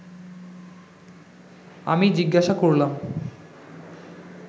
আমি জিজ্ঞাসা করলাম